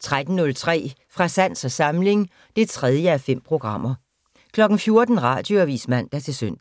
13:03: Fra sans og samling (3:5) 14:00: Radioavis (man-søn)